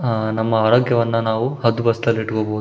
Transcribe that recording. ಅಹ್ ನಮ್ಮ ಆರೋಗ್ಯವನ್ನು ನಾವು ಹದ್ದು ಬಸ್ತಿಲ್ಲಿ ಇಟ್ಕೋಬಹೌ --